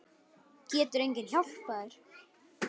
Getur enginn hjálpað þér?